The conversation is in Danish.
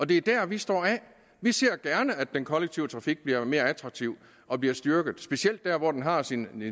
det er der vi står af vi ser gerne at den kollektive trafik bliver mere attraktiv og bliver styrket specielt der hvor den har sine